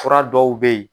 Fura dɔw bɛ yen